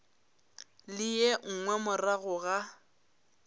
le ye nngwe morago ga